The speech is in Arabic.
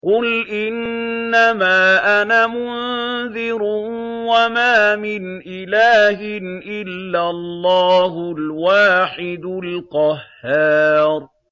قُلْ إِنَّمَا أَنَا مُنذِرٌ ۖ وَمَا مِنْ إِلَٰهٍ إِلَّا اللَّهُ الْوَاحِدُ الْقَهَّارُ